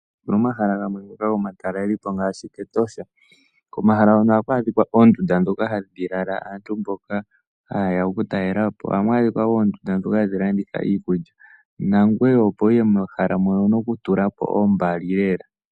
Momahala gamwe ngoka gomatalelo po ngaashi Etosha, komahala hono ohaku adhika oondunda ndhoka hadhi lala aantu mboka ha ye ya oku talela po. Ohamu adhika wo oondunda ndhoka hadhi landitha iikulya, nangoye opo wuye mohala mono owuna oku tula po ombali lela.